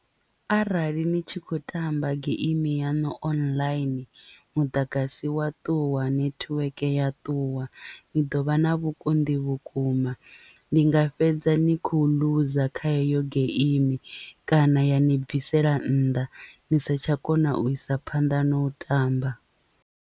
Arali ni tshi khou tamba geimi yaṋu online muḓagasi wa ṱuwa netiweke ya ṱuwa ni ḓovha na vhukonḓi vhukuma ni nga fhedza ni khou loser kha heyo geimi kana ya ni bvisela nnḓa ni si tsha kona u isa phanḓa na u tamba.